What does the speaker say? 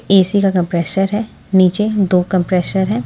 AC का compressor है नीचे दो कंप्रेसर हैं।